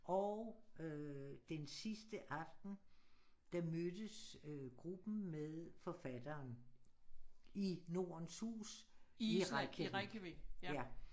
Og øh den sidste aften der mødtes gruppen med forfatteren i Nordens Hus i Reykjavik ja